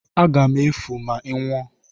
Aga m efu efu ma ị nwụọ!